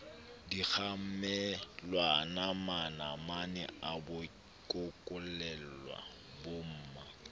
dikgamelwana manamane a bokollela bomma